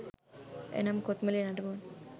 එනම් කොත්මලේ නටබුන්